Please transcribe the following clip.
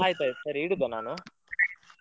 ಆಯ್ತ ಆಯ್ತ ಸರಿ ಇಡುದಾ ನಾನು.